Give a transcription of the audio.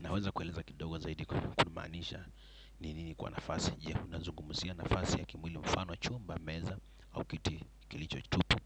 Naweza kueleza kidogo zaidi kwa kuumaanisha ninini kwa nafasi jia kuna zungumusia nafasi ya kimwili mfano chumba, meza au kitu kilicho tutu.